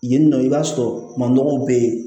Yen nɔ i b'a sɔrɔ manɔgɔw bɛ yen